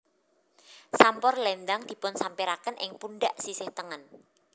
Sampur lendang dipunsampiraken ing pundhak sisih tengen